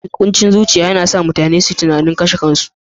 Kuncin zuciya yana sa mutane su yi tunanin kashe kansu kwatsam.